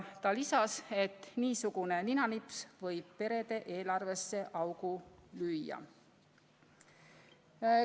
Ta lisas, et niisugune ninanips võib perede eelarvesse augu lüüa.